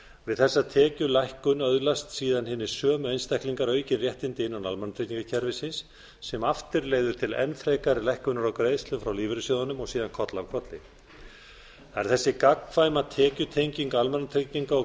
við þessa tekjulækkun öðlast síðan þessir sömu einstaklingar aukin réttindi innan almannatryggingakerfisins sem aftur leiðir til enn frekari lækkunar á greiðslum frá lífeyrissjóðunum og síðan koll af kolli það er þessi gagnkvæma tekjutenging almannatrygginga og